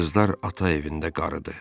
Qızlar ata evində qarıdı.